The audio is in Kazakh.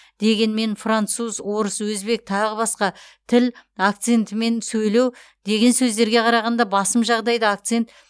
дегенмен француз орыс өзбек тағы басқа тіл акцентімен сөйлеу деген сөздерге қарағанда басым жағдайда акцент